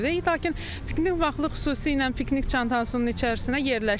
Lakin piknik vaxtı xüsusi ilə piknik çantasının içərisinə yerləşdirmirik.